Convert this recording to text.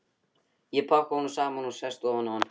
Ég pakka honum saman og sest ofan á hann.